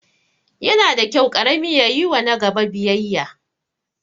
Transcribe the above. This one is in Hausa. Yana da kyau ƙarami ya yiwa nagaba biyayya